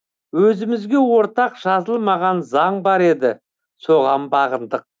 өзімізге ортақ жазылмаған заң бар еді соған бағындық